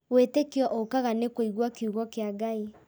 Wĩtĩkio ũkaga nĩ kũigua kiugo kĩa Ngai